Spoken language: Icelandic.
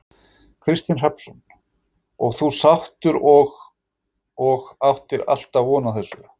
Kristinn Hrafnsson: Og þú sáttur og, og áttir alltaf von á þessu?